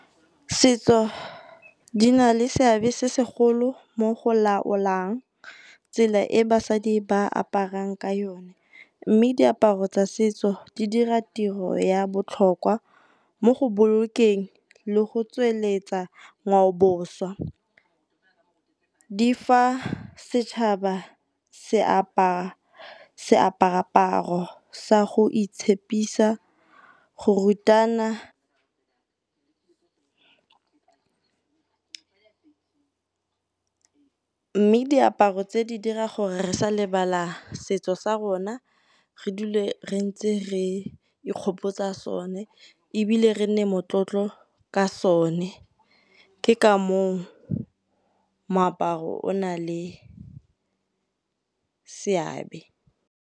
Setso di na le seabe se segolo mo go laolang tsela e basadi ba aparang ka yone. Mme diaparo tsa setso di dira tiro ya botlhokwa mo go bolokeng le go tsweletsa ngwaoboswa. Di fa setšhaba se aparaparo sa go itshepisa go rutana mme diaparo tse di dira gore re sa lebala setso sa rona, re dule re ntse re e nkgopotsa sone ebile re nne motlotlo ka sone. Ke ka mong moaparo o na le seabe.